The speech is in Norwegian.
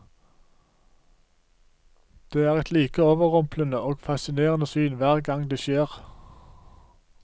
Det er et like overrumplende og fascinerende syn hver gang det skjer.